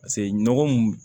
Paseke nɔgɔ mun